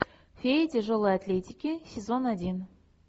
фея тяжелой атлетики сезон один